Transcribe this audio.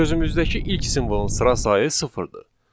Sözümüzdəki ilk simvolun sıra sayı sıfırdır.